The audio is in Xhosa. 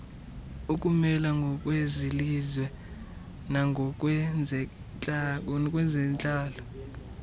ukumela ngokwezelizwe nangokwezentlalo